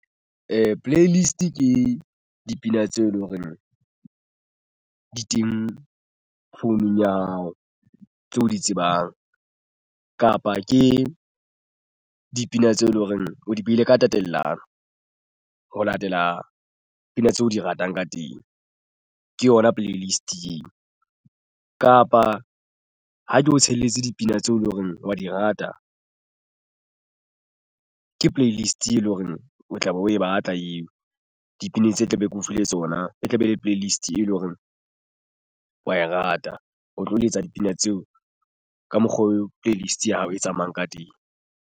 Playlist ke dipina tseo e leng horeng di teng founung ya hao tse o di tsebang kapa ke dipina tseo eleng hore o di behile ka tatellano ho latela pina tseo di ratang ka teng. Ke yona playlist kapa ha ke o tshelletse dipina tseo e leng hore wa di rata. Ke playlist eleng hore o tla be o e batla eo dipina tse tla be ke o file tsona e tlabe e le playlist e leng hore wa e rata o tlo letsa dipina tseo ka mokgwa oo playlist ya hao e tsamayang ka teng.